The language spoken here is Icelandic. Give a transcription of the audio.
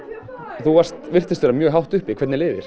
þú virtist vera mjög hátt uppi hvernig leið